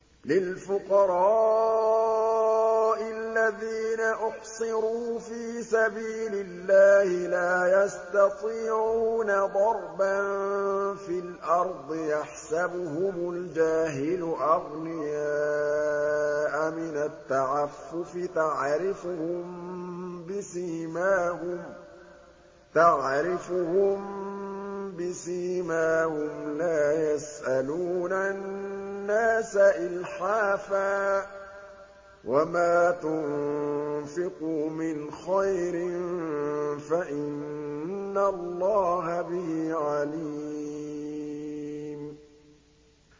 لِلْفُقَرَاءِ الَّذِينَ أُحْصِرُوا فِي سَبِيلِ اللَّهِ لَا يَسْتَطِيعُونَ ضَرْبًا فِي الْأَرْضِ يَحْسَبُهُمُ الْجَاهِلُ أَغْنِيَاءَ مِنَ التَّعَفُّفِ تَعْرِفُهُم بِسِيمَاهُمْ لَا يَسْأَلُونَ النَّاسَ إِلْحَافًا ۗ وَمَا تُنفِقُوا مِنْ خَيْرٍ فَإِنَّ اللَّهَ بِهِ عَلِيمٌ